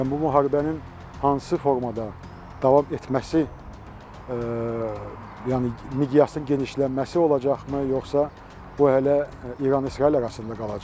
Yəni bu müharibənin hansı formada davam etməsi, yəni miqyasının genişlənməsi olacaqmı, yoxsa bu hələ İran-İsrail arasında qalacaq?